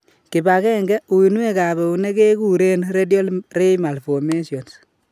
Kipagenge, uinwek ab eunek keguren radial ray malformations